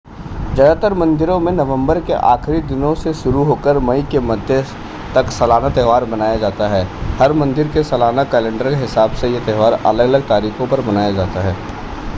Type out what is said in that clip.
ज़्यादातर मंदिरों में नवंबर के आखिरी दिनों से शुरू होकर मई के मध्य तक सालाना त्यौहार मनाया जाता है हर मंदिर के सालाना कैलेंडर के हिसाब से यह त्यौहार अलग-अलग तारीखों पर मनाया जाता है